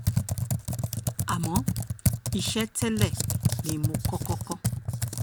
àmọ́ iṣẹ́ tẹ́lẹ̀ ni mo kọ́kọ́ kọ́